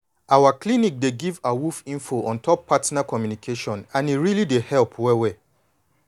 our clinic dey give awoof info on top partner communication and e really dey help well well.